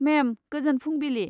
मेम, गोजोन फुंबिलि।